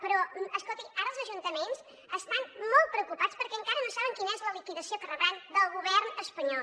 però escolti ara els ajuntaments estan molt preocupats perquè encara no saben quina és la liquidació que rebran del govern espanyol